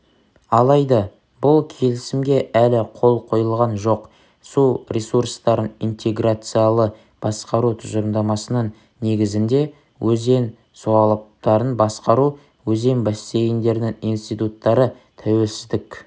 алайда бұл келісімге әлі қол қойылған жоқ су ресурстарын интеграциялы басқару тұжырымдамасының негізінде өзен суалаптарын басқару өзен бассейндерінің институттары тәуелсіздік